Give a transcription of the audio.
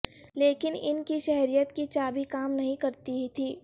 لیکن ان کی شہریت کی چابی کام نہیں کرتی تھی